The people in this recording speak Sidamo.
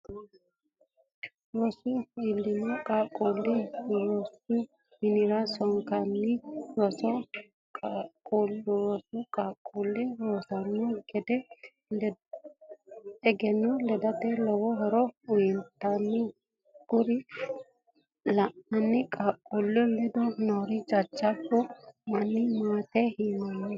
rosoho iillinno qaaqqulle rosu minira sonke rosiisa qaaqqullu surreranna egenno ledate lowo horo uyitanno kuri lainanni qaaqqulli ledo noore jajjabba manna maat yiinaanni?